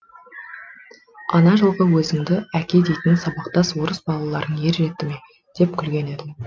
ана жылғы өзіңді әке дейтін сабақтас орыс балаларың ер жетті ме деп күлген еді